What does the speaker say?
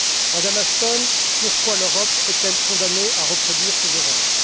Madame Ashton, pourquoi l'Europe est elle condamnée à reproduire ses erreurs?